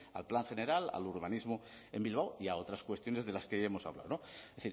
al plan general al urbanismo en bilbao y a otras cuestiones de las que ya hemos hablado es